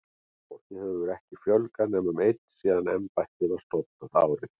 Starfsfólki hefur ekki fjölgað nema um einn síðan embættið var stofnað, árið